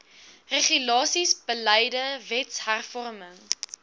regulasies beleide wetshervorming